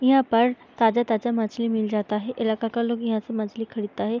यहाँ पर ताजा-ताजा मछली मिल जाता है इलाका का लोग यहाँ से मछली खरीदता है।